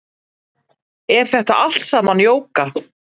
Er þetta allt saman jóga